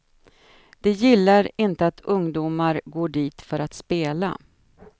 De gillar inte att ungdomar går dit för att spela.